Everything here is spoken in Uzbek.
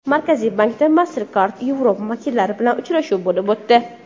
Markaziy bankda MasterCard Europe vakillari bilan uchrashuv bo‘lib o‘tdi.